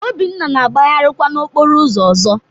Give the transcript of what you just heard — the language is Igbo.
Obinna na-agbagharịkwa n'okporo ụzọ ọzọ